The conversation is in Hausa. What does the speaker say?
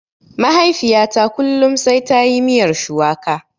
Mahaifiyata kullum sai tayi miyar shuwaka.